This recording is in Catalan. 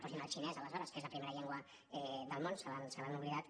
posin el xinès aleshores que és la primera llengua del món se l’han oblidat